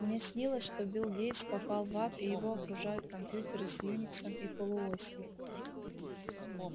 мне снилось что билл гейтс попал в ад и его окружают компьютеры с юниксом и полуосью